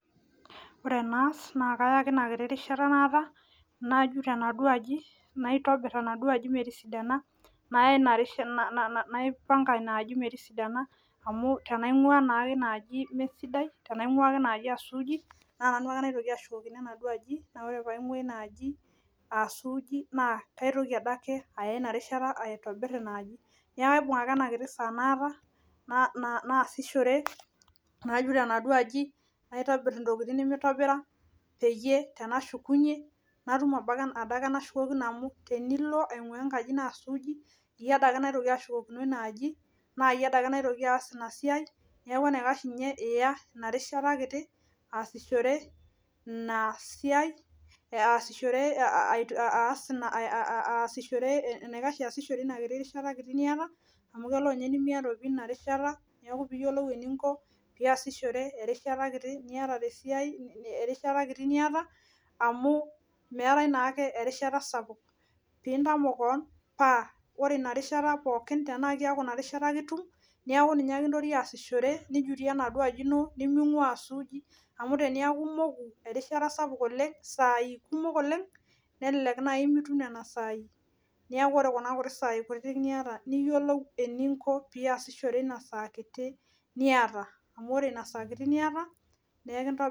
Ore enaas naa kaya ake enaduo rishata naata najut enaduo aji metisidana naya ina rishata naipanga ina aji metisidana amu tenaing'uua naa inaaji mesidai aa suuji naa nanu ake naitoki ashukokino ina aaji ore paig'ua ina aaji aa suuji naa kaitoki adake aya ina rishata aitobir ina aaji neeku kaibung ake ena rishata naata naasishore najut enaduo aji naitobir intokitin nemeitobira peyie tenashukunyie natum adake enashukokino amu tenilo aing'aa enkaji naa suuji iyie adake naitoki ashukokino ina aaji naa iyie adake naitoki aas ina siai niaku enaikash ninye iyasishore ina rishata kiti aas ina siai enaikash iyasishore ina kiti rishata niata amu kelo ninye nimiata niaku peiyiolou eninko peeyasishore erishata kiti niata amu meetai naake erishata sapuk peintamok kewon paa ore ina rishata pookin naa keeku ina rishata ake itum nintoki aasishore nijutie enaduo aji ino niming'uaaa aasuuji amu teniaku imoku erishata sapuk oleng isaai kumok oleng nelelek naaji mitum nena saai neeku ore kuna kuti saai niata niyiolou eninko piasishore ina saa kiti niata